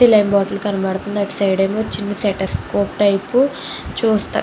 saline bottle కనబడుతుంది అటు side ఏమో చిన్న స్టేతేశ్కోప్ టైపు చూస్తా --